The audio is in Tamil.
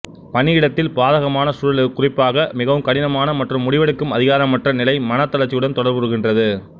பணியிடத்தில் பாதகமான சூழல் குறிப்பாக மிகவும் கடினமான மற்றும் முடிவெடுக்கும் அதிகாரமற்ற நிலை மனத் தளர்ச்சியுடன் தொடர்புறுகின்றது